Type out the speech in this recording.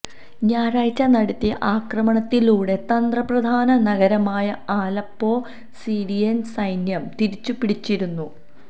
ഞായറാഴ്ച നടത്തിയ ആക്രമണത്തിലൂടെ തന്ത്രപ്രധാന നഗരമായ ആലപ്പൊ സിറിയന് സൈന്യം തിരിച്ചുപിടിച്ചിരുന്നു